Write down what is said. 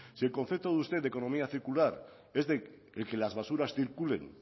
si el concepto de usted de economía circular es el que las basuras circulen